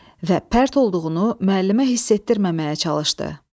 Və pərt olduğunu müəllimə hiss etdirməməyə çalışdı.